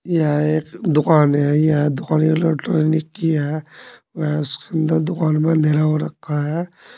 यह एक दुकान है यह दुकान इलैक्ट्रॉनिक की है वह सुंदर दुकान में अंधेरा हो रखा है।